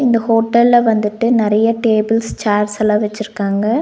இந்த ஹோட்டல்ல வந்துட்டு நெறைய டேபிள்ஸ் சேர்ஸ்ல்லா வச்சிருக்காங்க.